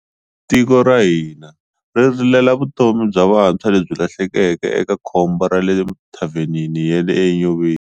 Tiko ra hina ri rilela vutomi bya vantshwa lebyi lahlekeke eka khombo ra le thavhenini ya le Enyobeni.